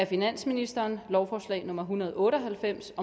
finansministeren lovforslag nummer hundrede og otte og halvfems